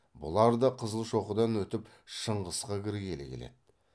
бұлар да қызылшоқыдан өтіп шыңғысқа кіргелі келеді